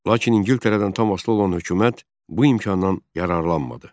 Lakin İngiltərədən tam asılı olan hökumət bu imkandan yararlanmadı.